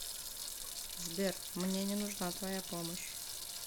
сбер мне не нужна твоя помощь